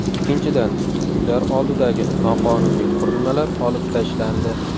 Ikkinchidan, uylar oldidagi noqonuniy qurilmalar olib tashlandi.